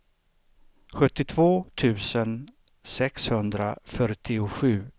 sjuttiotvå tusen sexhundrafyrtiosju